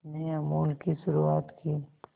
में अमूल की शुरुआत की